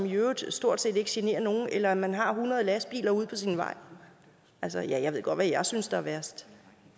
i øvrigt stort set ikke generer nogen eller at man har hundrede lastbiler ude på sin vej altså jeg ved godt hvad jeg synes er værst